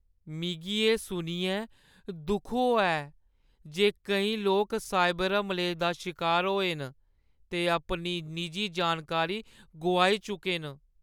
मिगी एह् सुनियै दुख होआ ऐ जे केईं लोक साइबर हमलें दा शिकार होए न ते अपनी निजी जानकारी गोआई चुके न।